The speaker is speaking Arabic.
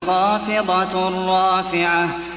خَافِضَةٌ رَّافِعَةٌ